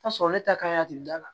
Ta sɔrɔ ne ta kan a tigi dala